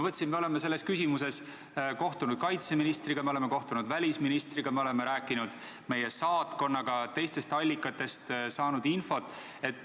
Me oleme selles küsimuses kohtunud kaitseministriga, me oleme kohtunud välisministriga, me oleme rääkinud meie saatkonnaga ja teistestki allikatest saanud infot.